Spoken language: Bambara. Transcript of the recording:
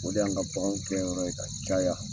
O de y'an ka bakanw gɛn yɔrɔ ye ka caya.